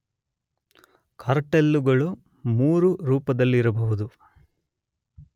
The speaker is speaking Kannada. ಕಾರ್ಟೆಲ್ಲುಗಳು ಮೂರು ರೂಪದಲ್ಲಿರಬಹುದು